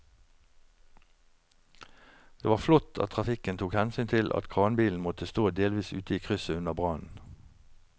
Det var flott at trafikken tok hensyn til at kranbilen måtte stå delvis ute i krysset under brannen.